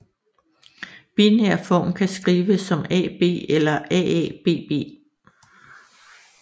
Binær form kan skrives som AB eller AABB